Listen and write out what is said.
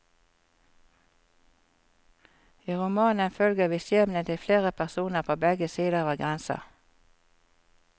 I romanen følger vi skjebnen til flere personer på begge sider av grensa.